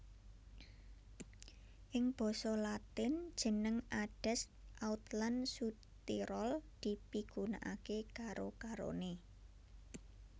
Ing basa Latin jeneng Adesc Autlan Sudtirol dipigunakaké karo karoné